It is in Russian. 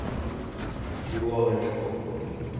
илоночку